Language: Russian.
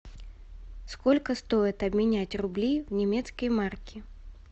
сколько стоит обменять рубли в немецкие марки